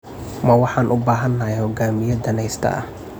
Ma waxaan u baahanahay hogaamiye danayste ah?